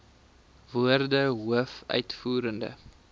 woorde hoof uitvoerende